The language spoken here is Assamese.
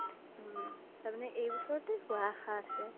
উম তাৰ মানে এই ব্ছৰতে হুৱা আশা আছে